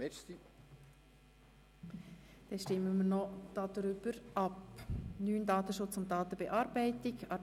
Wünscht die Antragstellerin nochmals das Wort?